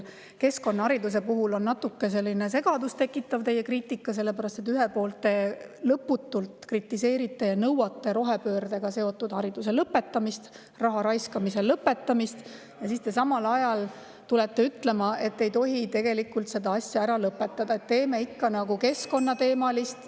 Keskkonnahariduse puhul on natuke segadust tekitav teie kriitika, sellepärast et ühelt poolt te lõputult kritiseerite ja nõuate rohepöördega seotud hariduse lõpetamist, raha raiskamise lõpetamist, aga siis te samal ajal tulete ütlema, et tegelikult ei tohi seda asja ära lõpetada, et anname ikka keskkonnateemalist …